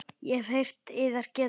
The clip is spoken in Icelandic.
Ég hef heyrt yðar getið.